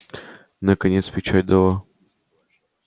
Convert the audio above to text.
наконец печать дала